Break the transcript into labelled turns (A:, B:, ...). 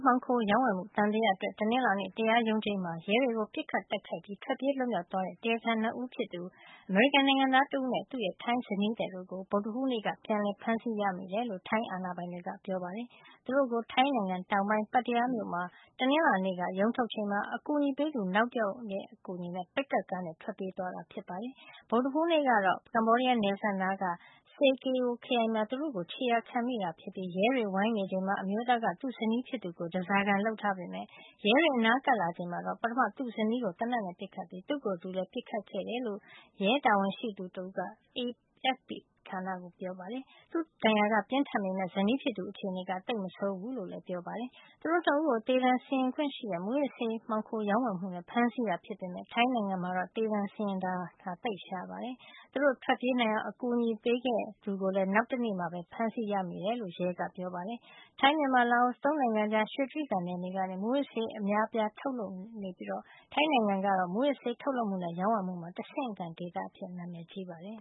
A: မှောင်ခိုရောင်းဝယ်မှု သံသယအတွက် တနင်္လာနေ့ တရားရုံးချိန်းမှာ ရဲတွေကို ပစ်ခတ်တိုက်ခိုက်ပြီး ထွက်ပြေးလွတ်မြောက် သွားခဲ့တဲ့ တရားခံ ၂ ဦးဖြစ်သူ အမေရိကန်နိုင်ငံသားတဦးနဲ့ သူ့ရဲ့ထိုင်းဇနီးသည်တို့ကို ဗုဒ္ဓဟူးနေ့က ပြန်လည် ဖမ်းဆီးရမိတယ်လို့ ထိုင်းအာဏာပိုင်တွေက ပြောပါတယ်။ သူတို့ကို ထိုင်းနိုင်ငံ တောင်ပိုင်း Pattaya မြို့မှာ တနင်္လာနေ့က ရုံးထုတ်ချိန်မှာ အကူအညီပေးသူ နောက်တယောက်နဲ့ အတူ ပစ်ကပ်ကားနဲ့ ထွက်ပြေးသွားခဲ့တာပါ။ ဗုဒ္ဓဟူးနေ့ကတော့ ကမ္ဘောဒီးယားနယ်စပ်နားက Sa Kaeo ခရိုင်မှာ သူတို့ကို ခြေရာခံမိခဲ့တာ ဖြစ်ပြီး ရဲတွေဝိုင်းနေချိန်မှာ အမျိုးသားက သူ့ဇနီးဖြစ်သူကို ဓါးစာခံ လုပ်ထားပေမယ့် ရဲတွေအနားကပ် လာချိန်မှာတော့ ပထမ သူ့ဇနီးကို သေနတ်နဲ့ပစ်ခဲ့ပြီး သူ့ကိုယ်သူလည်း ပစ်ခတ်ခဲ့တယ်လို့ ရဲတာဝန်ရှိသူက AFP သတင်းဌာနကို ပြောပါတယ်။ သူ့ဒဏ်ရာက ပြင်းထန်ပေမယ့် ဇနီးဖြစ်သူရဲ့ အခြေနေကတော့ သိပ်မဆိုးဘူးလို့လည်း ပြောပါတယ်။ သူတို့ ၂ ဦးကို သေဒဏ်စီရင်ခွင့်ရှိတဲ့ မူးယစ်ဆေး မှောင်ခိုရောင်းဝယ်မှုနဲ့ ဖမ်းဆီးတာ ဖြစ်ပေမယ့် ထိုင်းနိုင်ငံမှာ သေဒဏ်စီရင်တာကတော့ သိပ်ရှားပါတယ်။ သူတို့ထွက်ပြေးနိုင်အောင် အကူညီပေးခဲ့သူကိုလည်း နောက်တနေရာမှာ ဖမ်းမိတယ်လို့ ရဲက ပြောပါတယ်။ ထိုင်း- မြန်မာ- လာအို ၃ နိုင်ငံကြား ရွှေတြိဂံနယ်မြေကနေ မူးယစ်ဆေးဝါးအများအပြား ထုတ်လုပ်မှုရှိနေပြီး ထိုင်းနိုင်ငံကတော့ မူးယစ်ဆေး ထုတ်လုပ်မှုနဲ့ ရောင်းဝယ်မှုမှာ တဆင့်ခံဒေသအဖြစ် နာမည် ကြီးပါတယ်။